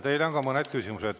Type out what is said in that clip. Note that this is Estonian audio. Teile on ka mõned küsimused.